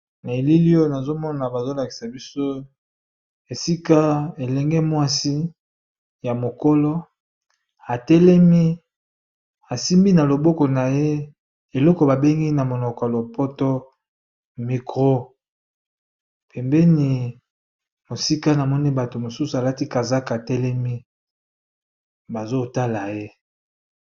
Na elili oyo nazomona bazolakisa biso esika elenge mwasi ya mokolo telemiasimbi na loboko na ye eloko babengi na monoko ya lopoto mikro pembeni mosika namoni bato mosusu alati kazaka telemi bazotala ye.